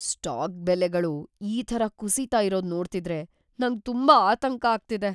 Stock ಬೆಲೆಗಳು ಈ ಥರ ಕುಸೀತಾ ಇರೋದ್‌ ನೋಡ್ತಿದ್ರೆ ನಂಗ್‌ ತುಂಬಾ ಆತಂಕ ಆಗ್ತಿದೆ.